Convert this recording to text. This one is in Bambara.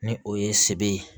Ni o ye sebere ye